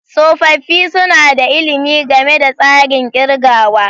Tsofaffi suna da ilimi game da tsarin kirgawa.